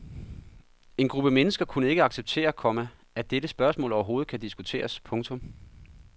En gruppe mennesker kunne ikke acceptere, komma at dette spørgsmål overhovedet kan diskuteres. punktum